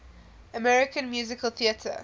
american musical theatre